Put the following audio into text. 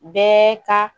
Bɛɛ ka